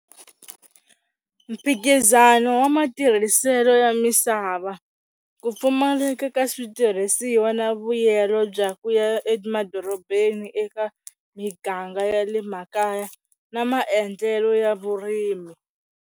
Mphikizano wa matirhiselo ya misava, ku pfumaleka ka switirhisiwa na vuyelo bya ku ya emadorobeni eka miganga ya le makaya na maendlelo ya vurimi.